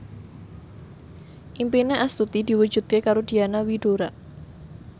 impine Astuti diwujudke karo Diana Widoera